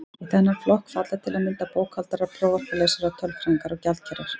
Í þennan flokk falla til að mynda bókhaldarar, prófarkalesarar, tölfræðingar og gjaldkerar.